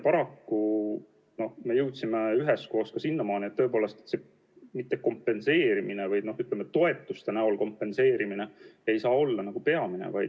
Paraku me jõudsime üheskoos sinnamaani, et tõepoolest see toetuste näol kompenseerimine ei saa olla peamine.